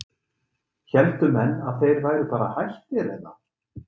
héldu menn að þeir væru bara hættir eða?